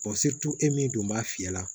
e min dun b'a fiyɛ la